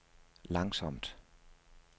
langsomt